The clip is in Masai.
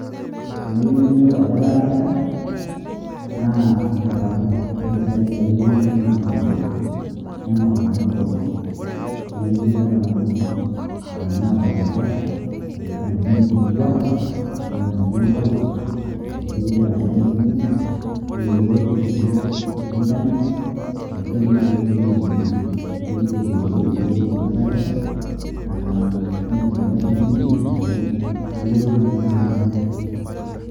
Tenayu nayolou ajo ketaa kesha, naa inkatampo, amu ore oshiake [s] dalili enchan naa inkatampo. Ning'or inkatampo, tenaa ketii inkatampo natorokita, ashu natinyikitua metaa metii enkolong, nejo kegira ajo kemisimisu, neewuo oloti siwuo lenchan arashu teneiterua dii ninye airujruj, ore ake pee eiteru airujruj, nayolou ajo ketaa kesha, nitinyikua sii pii nayiolou ajo ketaa kesha.